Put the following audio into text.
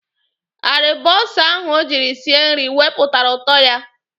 Aribonsa ahụ o jiri sie nri wepụtara ụtọ ya.